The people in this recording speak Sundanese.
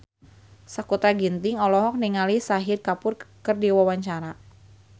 Sakutra Ginting olohok ningali Shahid Kapoor keur diwawancara